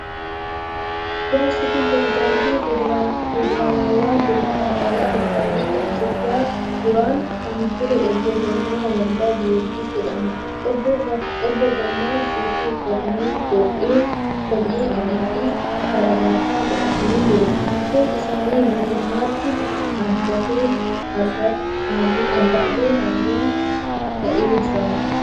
Jaarsi kun pirezidaantii Federaalawaa Dimokiraatawaa Rippabilika Itiyoophiyaa duraanii kan ture Obbo Girmaa WoldeGiyoorgis jedhama. Obbo Girmaan suufii uffatanii, qomee adiifi kaarabaata godhatanii jiru. Rifeensi isaanii guutummaatti addaatee harrii ta'ee jira.